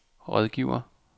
rådgiver